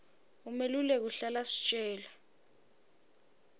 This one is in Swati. umeluleki uhlala asitjela